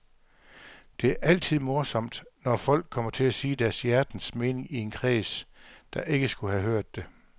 Det er altid morsomt, når folk kommer til at sige deres hjertens mening i en kreds, der ikke skulle have hørt det.